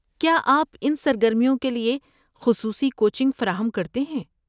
کیا آپ ان سرگرمیوں کے لیے خصوصی کوچنگ فراہم کرتے ہیں؟